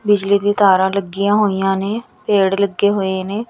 ਬਿਜਲੀ ਦੀਆਂ ਤਾਰਾਂ ਲੱਗੀਆਂ ਹੋਈਆਂ ਨੇ ਪੇੜ ਲੱਗੇ ਹੋਏ ਨੇ।